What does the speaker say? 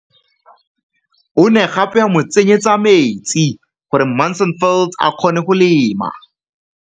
O ne gape a mo tsenyetsa metsi gore Mansfield a kgone go lema.